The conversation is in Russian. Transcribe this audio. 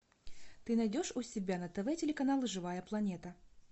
ты найдешь у себя на тв телеканал живая планета